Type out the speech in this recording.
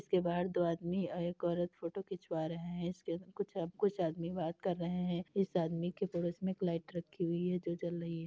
इसके बाहर दो आदमी और एक औरत फोटो खींचवा रहे हैं। इसके कुछ कुछ आदमी बात कर रहे हैं। इस आदमी के पड़ोस में एक लाइट रखी हुई है जो जल रही है।